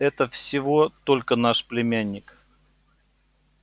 это всего только наш племянник